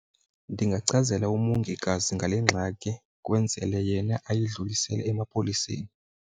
Ndingachazela umongikazi ngale ngxaki kwenzele yena ayidlulisele emapoliseni.